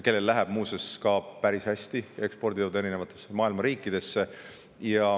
Neil läheb muuseas päris hästi, nad ekspordivad maailma eri riikidesse.